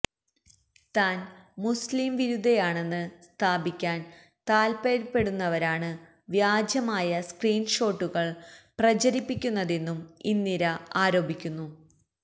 താന് മുസ്ലീം വിരുദ്ധയാണെന്ന് സ്ഥാപിക്കാന് താത്പര്യപ്പെടുന്നവരാണ് വ്യാജമായ സ്ക്രീന് ഷോട്ടുകള് പ്രചരിപ്പിക്കുന്നതെന്നും ഇന്ദിര ആരോപിക്കുന്നു